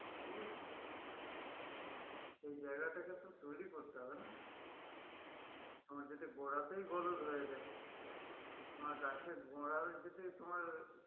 অবশ্যই সেই জায়গাটাকে তো তৈরী করতে হবে না? আমার যাতে গোড়াতেই হয়ে যাই আমার গাছের গোড়া যদি তোমার